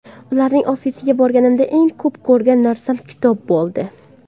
Ularning ofisiga borganimda, eng ko‘p ko‘rgan narsam kitob bo‘ldi.